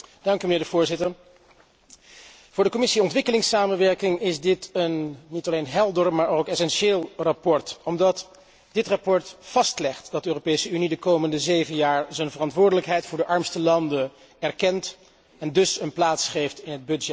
Voorzitter, voor de Commissie Ontwikkelingssamenwerking is dit een niet alleen helder maar ook essentieel verslag, omdat dit verslag vastlegt dat de Europese Unie de komende zeven jaar haar verantwoordelijkheid voor de armste landen erkent en dus een plaats geeft in het budget.